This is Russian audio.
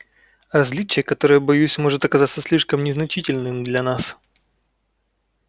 различие которое боюсь может оказаться слишком незначительным для нас